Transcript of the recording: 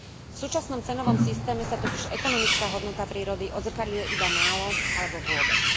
V súčasnom cenovom systéme sa totiž ekonomická hodnota prírody odzrkadľuje iba málo, alebo vôbec.